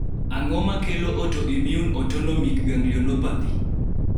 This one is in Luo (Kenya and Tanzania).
ang'o makelo autoimmune autonomic ganglionopathy?